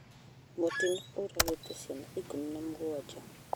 Mutino ũragĩte ciana ikũmi na mũgwanja